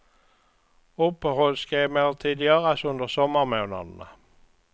Uppehåll ska emellertid göras under sommarmånaderna.